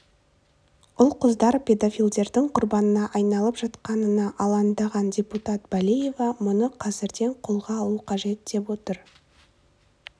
ұл-қыздар педофилдердің құрбанына айналып жатқанына алаңдаған депутат балиева мұны қазірден қолға алу қажет деп отыр